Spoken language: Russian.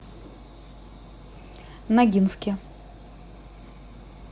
ногинске